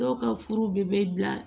Dɔw ka furu bɛ bila